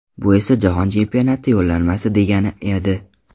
Bu esa Jahon Chempionati yo‘llanmasi degani edi.